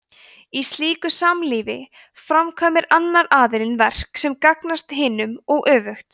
í slíku samlífi framkvæmir annar aðilinn verk sem gagnast hinum og öfugt